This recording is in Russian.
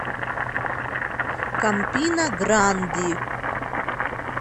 кампина гранди